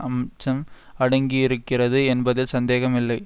அம்சம் அடங்கியிருக்கிறது என்பதில் சந்தேகமில்லை